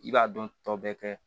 I b'a dɔn tɔ bɛɛ kɛ